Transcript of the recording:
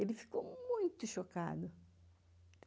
Ele ficou muito chocado.